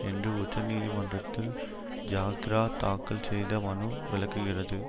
என்று உச்சநீதிமன்றத்தில் ஜாக்கிரா தாக்கல் செய்த மனு விளக்குகிறது